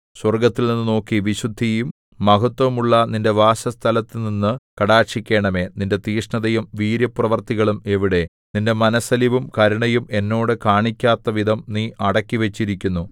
സ്വർഗ്ഗത്തിൽനിന്നു നോക്കി വിശുദ്ധിയും മഹത്ത്വവുമുള്ള നിന്റെ വാസസ്ഥലത്തുനിന്നു കടാക്ഷിക്കണമേ നിന്റെ തീക്ഷ്ണതയും വീര്യപ്രവൃത്തികളും എവിടെ നിന്റെ മനസ്സലിവും കരുണയും എന്നോട് കാണിക്കാത്തവിധം നീ അടക്കിവച്ചിരിക്കുന്നു